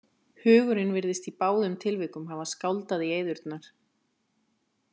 Hugurinn virðist í báðum tilvikum hafa skáldað í eyðurnar.